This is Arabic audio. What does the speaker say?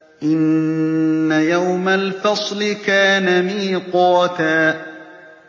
إِنَّ يَوْمَ الْفَصْلِ كَانَ مِيقَاتًا